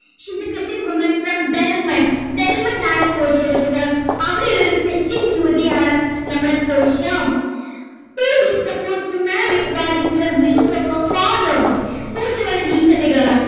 she is a christian women from Belmont Belmont ആണ് പോർഷ്യയുടെ സ്ഥലം അവിടെയുള്ളൊരു ക്രിസ്ത്യൻ യുവതിയാണ് നമ്മുടെ Portia she is supposed to marry according to the wishes of her father പോർഷ്യ വളരെ decent girl ആണ്